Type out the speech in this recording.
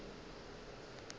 ge e ka ba go